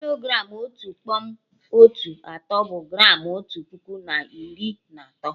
Kilogram Otu kpọm otu atọ, bụ gramụ otu puku na iri na atọ